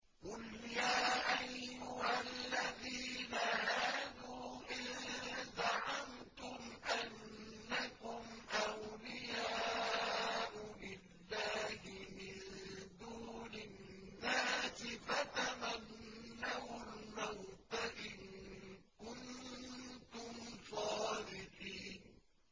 قُلْ يَا أَيُّهَا الَّذِينَ هَادُوا إِن زَعَمْتُمْ أَنَّكُمْ أَوْلِيَاءُ لِلَّهِ مِن دُونِ النَّاسِ فَتَمَنَّوُا الْمَوْتَ إِن كُنتُمْ صَادِقِينَ